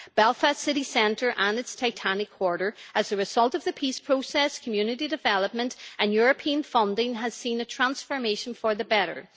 Belfast city centre and its Titanic quarter have, as a result of the peace process, community development and European funding, seen a transformation for the better.